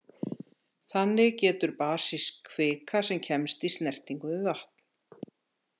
Þannig getur basísk kvika sem kemst í snertingu við vatn.